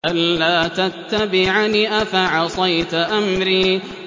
أَلَّا تَتَّبِعَنِ ۖ أَفَعَصَيْتَ أَمْرِي